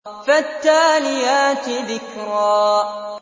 فَالتَّالِيَاتِ ذِكْرًا